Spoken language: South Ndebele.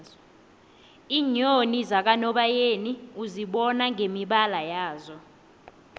iinyoni zakanobayeni uzibona ngemibala yazo